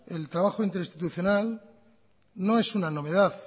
el trabajo interinstitucional no es una novedad